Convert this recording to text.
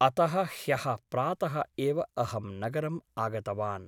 अतः ह्यः प्रातः एव अहं नगरम् आगतवान् ।